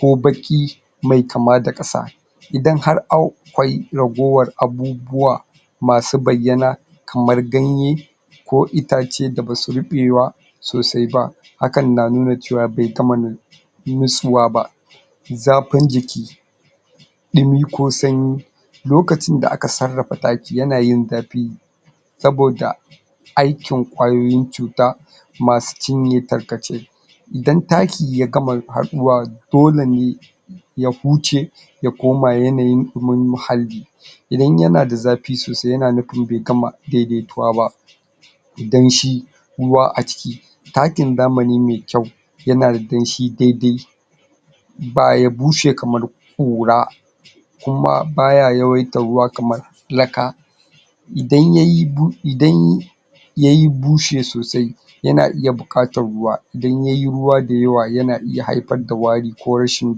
ko baƙi mai kama da ƙasa idan har au akwai ragowar abubuwa masu bayyana kamar ganye ko itace da ba su riɓe ba sosai ba hakan nunawa cewa bai gama? ba zafin jiki ɗumi ko sanyi lokacin da aka sarrafa taki yana yin zafi saboda aikin ƙwayoyin cuta masu cinye tarkace idan taki ya gama haɗuwa doke ne ya huce ya koma yanayin ɗumin mahalli idan yana da zafi sosai yana nufin bai gama daidaituwa ba danshi ruwa a ciki takin zamani mai kyau yana da danshi daidai ba ya bushe kamar ƙura kuma ba ya yawaita ruwa kamar laka idan ya yi bu... idan ya yi ya bushe sosai yana iya buƙatar ruwa idan ya yi ruwa dayawa yana iya haifar da wari ko rashin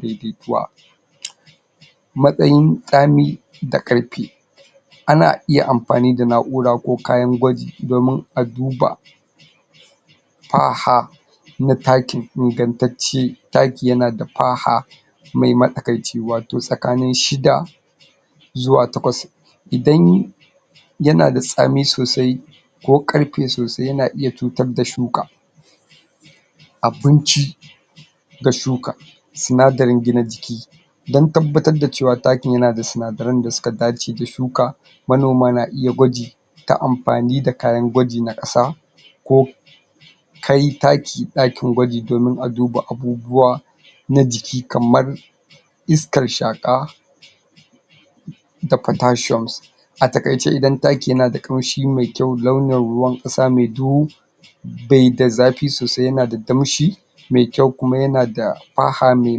daidaituwa matsayin tsami da karfi ana iya mafani da na'ura ko kayan gwaji domin a duba faha na takin ingantacce taki yana da faha mai matsakaici wato tsakanin shida zuwa takwas idan yana da tsami sosai ko ƙarfe sosai yana iya cutar da shuka abinci ga shuka sinadarin gina jiki don tabbatar da cewa takin yana da sinadaran da suka dace da shuka manoma na iya gwaji ta mafani da kayan gwaji na ƙasa ko kai taki ɗakin gwaji dfomin a duba abubuwa na jiki kamar iskar shaƙa da potassium a taƙaice idan taki yana da ƙamshi mai kyuau launin ruwan ƙasa mai duhu bai da zafi sosai yana da damshi mai kyau kuma yana da faha mai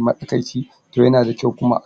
matsakaici to yana da kyau kuma